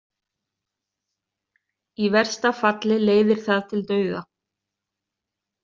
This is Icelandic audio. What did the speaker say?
Í versta falli leiðir það til dauða.